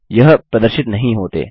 यह प्रदर्शित नहीं होते